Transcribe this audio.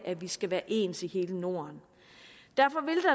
at vi skal være ens i hele norden derfor